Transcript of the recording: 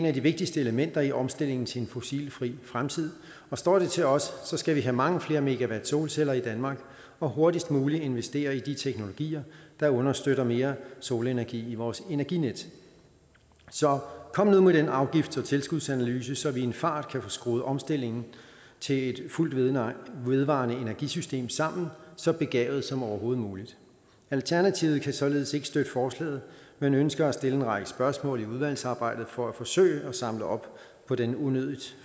af de vigtigste elementer i omstillingen til en fossilfri fremtid og står det til os skal vi have mange flere megawatt solceller i danmark og hurtigst mulig investere i de teknologier der understøtter mere solenergi i vores energinet så kom nu med den afgifts og tilskudsanalyse så vi en fart kan få skruet omstillingen til et fuldt vedvarende vedvarende energisystem sammen så begavet som overhovedet muligt alternativet kan således ikke støtte forslaget men ønsker at stille en række spørgsmål i udvalgsarbejdet for at forsøge at samle op på den unødigt